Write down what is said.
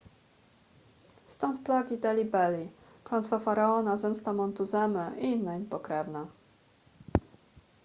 stąd plagi delhi belly klątwa faraona zemsta montuzemy i inne im pokrewne